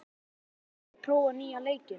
Gutti, hefur þú prófað nýja leikinn?